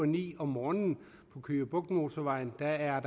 ni om morgenen på køge bugt motorvejen er